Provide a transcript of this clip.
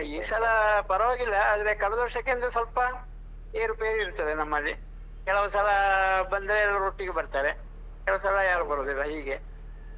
ಆಹ್ ಈ ಸಲ ಪರವಾಗಿಲ್ಲ ಆದ್ರೆ ಕಳೆದ ವರ್ಷಕ್ಕಿಂತ ಸ್ವಲ್ಪ ಏರು ಪೇರು ಇರ್ತದೆ ನಮ್ಮಲ್ಲಿ ಕೆಲವ್ಸಲ ಬಂದ್ರೆ ಎಲ್ಲರೂ ಒಟ್ಟಿಗೆ ಬರ್ತಾರೆ ಕೆಲವಸಲ ಯಾರು ಬರುದಿಲ್ಲ ಹೀಗೆ.